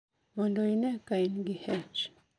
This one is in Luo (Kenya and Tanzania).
Mondo ine ka in gi H